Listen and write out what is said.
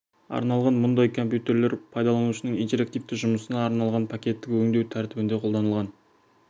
арналған мұндай компьютерлер пайдаланушының интерактивті жұмысына арналған пакеттік өңдеу тәртібінде қолданылған